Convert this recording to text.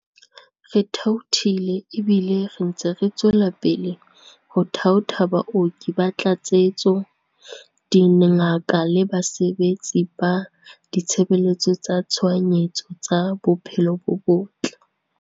Re thaothile ebile re ntse re tswela pele ho thaotha baoki ba tlatsetso, dingaka le basebetsi ba ditshebeletso tsa tshohanyetso tsa bophelo bo botle.